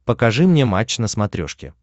покажи мне матч на смотрешке